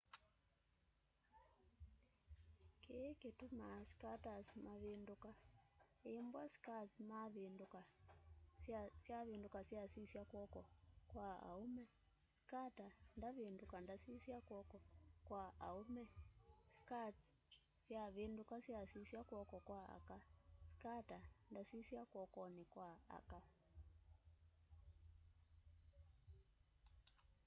kĩĩ kĩtũmaa skaters mavĩndũka ĩmbw'a skates syavĩndũka syasisya kw'oko kwa aũme skater ndavĩndũka ndasisya kw'oko kwa aũme skates syavĩndũka syasisya kw'oko kwa aka skater ndasĩsya kw'okonĩ kwa aka